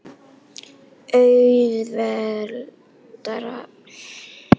Auðveldara gæti það ekki verið. Hann hefur samningstilboð í höndum sínum frá okkur.